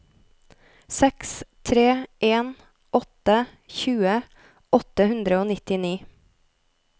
seks tre en åtte tjue åtte hundre og nittini